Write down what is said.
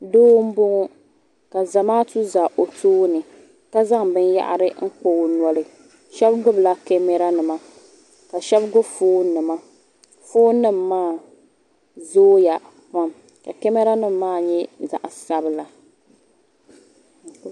Doo m boŋɔ ka Zamaatu za o tooni ka zaŋ binyahiri n kpa o noli sheba gbibila kamara nima ka sheba gbibi fooni nima fooni nima maa zooya pam ka kamara nima maa nyɛ zaɣa sabila.